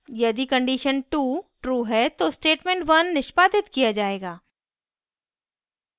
यदि condition 2 true है तो statement 1 निष्पादित किया जाएगा